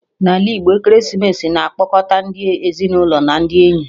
N'ala Igbo, ekeresimesi na-akpọkọta ndi ezinụlọ na ndị enyi